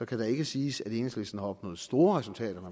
kan det ikke siges at enhedslisten har opnået store resultater når